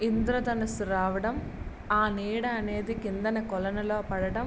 ఇంద్ర ధనుస్సు రావడం ఆ నీడ అనేది కిందన కొలనులో పడడం --